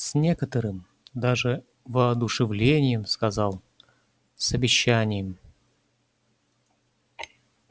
с некоторым даже воодушевлением сказал с обещанием